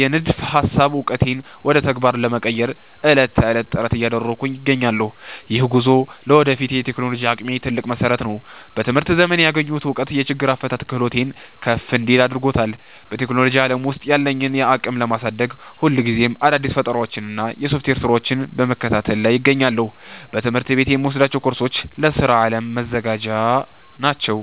የንድፈ ሃሳብ ዕውቀቴን ወደ ተግባር ለመቀየር ዕለት ተዕለት ጥረት እያደረግኩ እገኛለሁ። ይህ ጉዞ ለወደፊት የቴክኖሎጂ አቅሜ ትልቅ መሰረት ነው። በትምህርት ዘመኔ ያገኘሁት እውቀት የችግር አፈታት ክህሎቴን ከፍ እንዲል አድርጎታል። በቴክኖሎጂ ዓለም ውስጥ ያለኝን አቅም ለማሳደግ፣ ሁልጊዜ አዳዲስ ፈጠራዎችንና የሶፍትዌር ስራዎችን በመከታተል ላይ እገኛለሁ። በትምህርት ቤት የምወስዳቸው ኮርሶች ለስራ ዓለም መዘጋጃ ናቸው